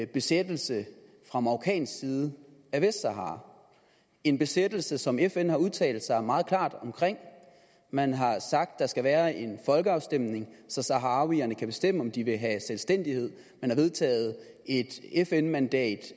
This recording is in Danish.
besættelse fra marokkansk side af vestsahara en besættelse som fn har udtalt sig meget klart om man har sagt at der skal være en folkeafstemning så saharawierne kan bestemme om de vil have selvstændighed man har vedtaget et fn mandat